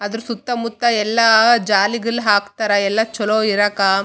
ಅದ್ರು ಸುತ್ತ ಮುತ್ತ ಎಲ್ಲ ಜಾಲಿಗಲ್ಲ್ ಹಾಕ್ತಾರ ಎಲ್ಲ ಚಲೋ ಇರಾಕ.